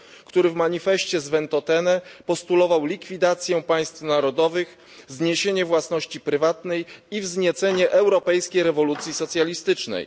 który w manifeście z Ventotene postulował likwidację państw narodowych, zniesienie własności prywatnej i wzniecenie europejskiej rewolucji socjalistycznej.